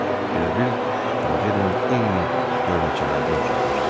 Elə bil tacirlə eyni görməcələrdən keçmişdilər.